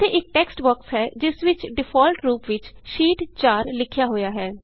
ਇਥੇ ਇਕ text box ਹੈ ਜਿਸ ਵਿਚ ਡਿਫਾਲਟ ਰੂਪ ਵਿਚ ਸ਼ੀਟ 4 ਲਿਖਿਆ ਹੋਇਆ ਹੈ